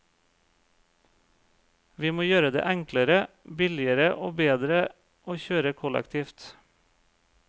Vi må gjøre det enklere, billigere og bedre å kjøre kollektivt.